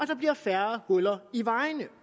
der bliver færre huller i vejene